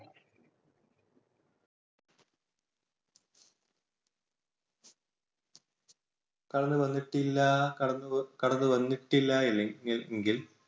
കടന്നു വന്നിട്ടില്ല കടന്നു വന്നിട്ടില്ല എങ്കിൽ